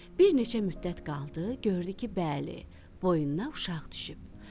Bir neçə müddət qaldı, gördü ki, bəli, boyundan uşaq düşüb.